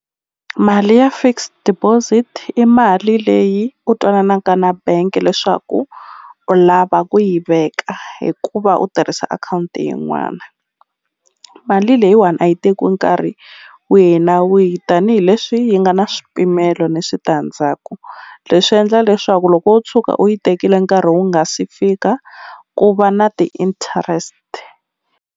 Mali ya fixed deposit i mali leyi u twananaka na bank leswaku u lava ku yi veka hikuva u tirhisa akhawunti yin'wana mali leyiwani a yi tekiwi nkarhi wihi na wihi tanihileswi yi nga na swipimelo ni switandzhaku leswi endla leswaku loko wo tshuka u yi tekile nkarhi wu nga si fika ku va na ti-interest.